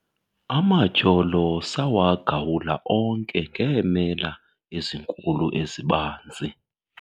Amatyholo sawagawula onke ngeemela ezinkulu ezibanzi.